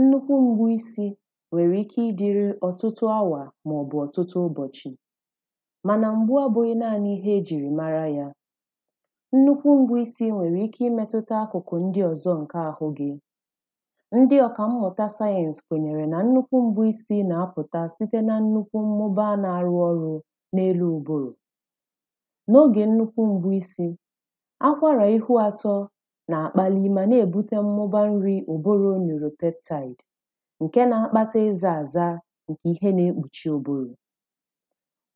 nnukwù mgbu isi nwere ike ịdịrị ọtụtụ awa maọbụ̀ ọtụtụ ụbọchị̀ mana mgbe ọbụghị naani ka e jiri mara yà nnukwu mgbu isi nwere ike imetuta akụkụ ndị ọzọ nkē ahụ gī ndị ọkammụta science kwenyere na nnukwu mgbu isi na-apụtà sitē na nnukwu mmụba na-arụ ọrụ̄ na elu ụbụrụ̀ na oge nnukwu mgbu isi ọ ka nwere ihu atọ na-akpali mana ebute mmụba nri ụbụrụ mere peptide nke na-akpata iza azà nke ihe na-ekpuchi ụbụrụ̄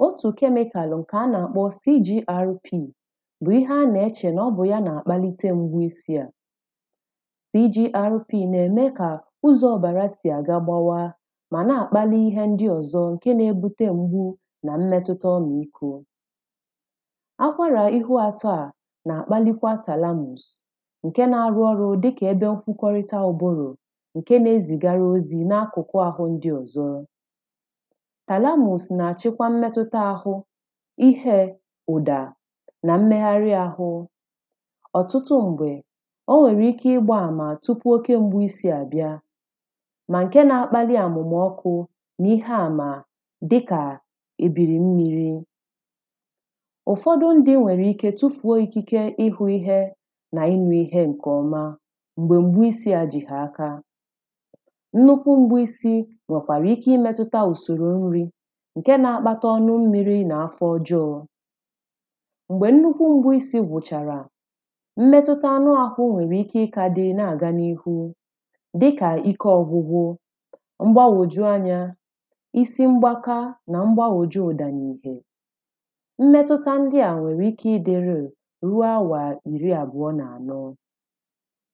otū chemical nke a na-akpọ CGRP bụ ihe a na-eche na ọbụ ya na-akpalite mgbu isi à CGRP na-eme ka ụzọ ọbara si aga gbawā mana na-akpali ihe ndị ọzọ nke na-ebute mgbū na mmetuta ọmị ikō akwara ihu ato à na-akpalite thalamus nke na-arụ ọrụ dikà nkwukorita ụbụrụ nke na-ezigara ozi na akụkụ̀ ahụ ndị ọzọ̀ thalamus na-achikwa mmetuta ahụ̄ ihē ụdā na mmeghari ahụ̄ ọtụtụ mgbē o nwere ike ịgba ama tupu oke mgbū isi abịà ma nke na-akpali amụmā ọkū na ihe amā dịkā ebiri mmiri ụfọdụ ndị̄nwere ike chufuo ikike ịhụ ihè na ịnụ ihe nke ọmà mgbe mgbu isi a ji ha akā nnukwu mgbu isi nwekwara ike imetuta usoro nri nke na-akpata ọnụ mmiri na-afọ ọjọọ̀ mgbe nnukwu mgbu isi gwụcharà mmetutā anụ ahụ nwere ike ka dị na-aga na ihū dịkà ike ọgwụgwụ̄ mgbagwoju anya isi mgbaka na mgbagwoju ụdā na itē mmetuta ndị a nwere ike ịdị real ruo awa iri abụọ na anọ̄